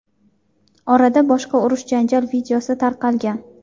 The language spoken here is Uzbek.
Orada boshqa urush-janjal videosi tarqalgan.